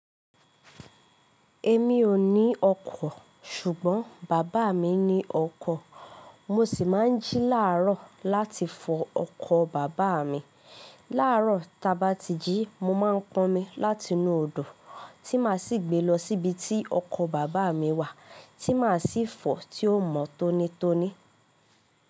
Èmi ò ní ọkọ̀, ṣùgbọ́n bàbá mi ní ọkọ̀. Mo sì máa ń jí làárọ̀ láti fọ ọkọ̀ bàbá mi. Làárọ̀ tá bá ti jí, mo máa ń pọnmi láti inú odò tí màá sì gbé lọ síbi tí ọkọ̀ bàbá mi wà tí màá sì fọ̀ tí ó mọ́ tónítóní.